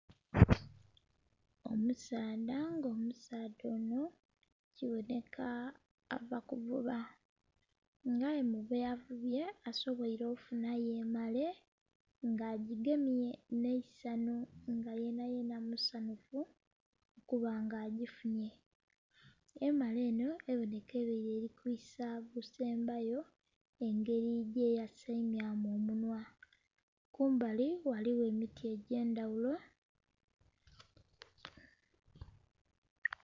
Omusaadha nga omusaadha onho kibonheka ava kuvuba nga aye mubyavubye asobweere ofunhayo emare nga agigemye nh'eisanhu nga yenha yenha musanhufu okuba nga agifunye. Emare enho ebonheka ebeere erikwiisa gusembayo engeri gyeyaseemyamu omunhwa, kumbali ghaligho emiti egyendhaghulo.